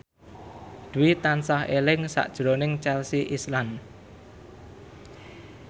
Dwi tansah eling sakjroning Chelsea Islan